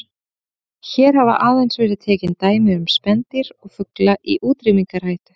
Hér hafa aðeins verið tekin dæmi um spendýr og fugla í útrýmingarhættu.